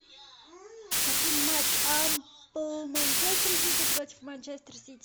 хотим матч апл манчестер сити против манчестер сити